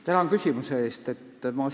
Tänan küsimuse eest!